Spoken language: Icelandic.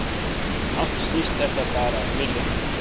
Allt snýst þetta bara um viljann